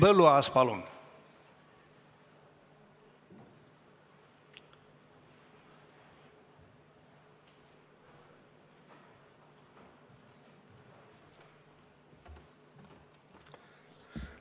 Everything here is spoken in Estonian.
Henn Põlluaas, palun!